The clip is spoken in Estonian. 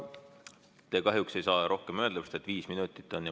Te kahjuks ei saa rohkem öelda, sest viis minutit on kõneaeg.